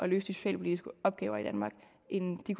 de socialpolitiske opgaver i danmark end de